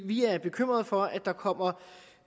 vi er bekymrede for at der kommer